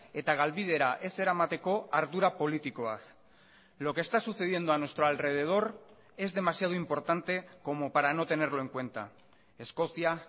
eta galbidera ez eramateko ardura politikoaz lo que está sucediendo a nuestro alrededor es demasiado importante como para no tenerlo en cuenta escocia